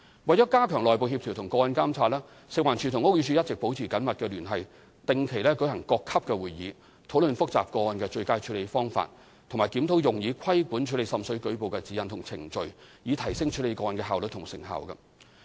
為加強內部協調和個案監察，食環署和屋宇署一直保持緊密聯繫，定期舉行各級會議，討論複雜個案的最佳處理方法，以及檢討用以規管處理滲水舉報的指引和程序，以提升處理個案的效率和成效。